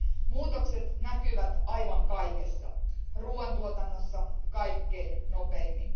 Muutokset näkyvät aivan kaikessa, ruuantuotannossa kaikkien nopeimmin.